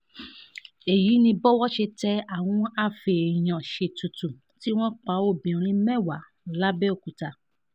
èyí ni bówó ṣe tẹ àwọn afèèyàn-ṣètùtù tí wọ́n pa obìnrin mẹ́wàá làbẹ́òkúta